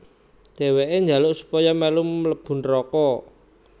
Dheweke njaluk supaya melu mlebu neraka